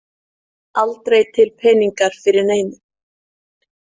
Aldrei til peningar fyrir neinu.